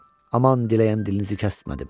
Aman diləyən dilinizi kəsmədim.